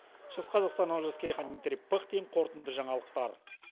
шығыс қазақстан олжас керейхан дмитрий пыхтин қорытынды жаңалықтар